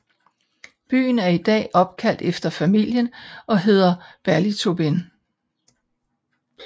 Byen er i dag opkaldt efter familien og hedder Ballytobin